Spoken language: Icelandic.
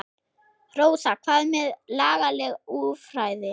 Rósa: Hvað með lagaleg úrræði?